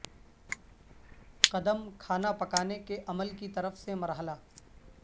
قدم کھانا پکانے کے عمل کی طرف سے مرحلہ